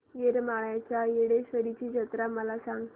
येरमाळ्याच्या येडेश्वरीची जत्रा मला सांग